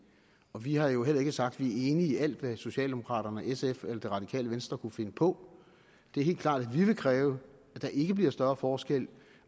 og vi har jo heller ikke sagt at vi er enige alt hvad socialdemokraterne og sf eller det radikale venstre kunne finde på det er helt klart at vi vil kræve at der ikke bliver større forskel